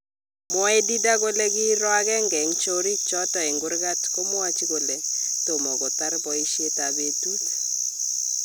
Mwae Didier kole kiroo agenge en choriik choton en kurkat komwachi kole tomo kotar boisiet ab betut.